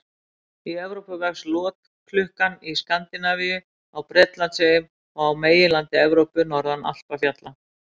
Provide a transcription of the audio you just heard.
Í Evrópu vex lotklukkan í Skandinavíu, á Bretlandseyjum og á meginlandi Evrópu, norðan Alpafjalla.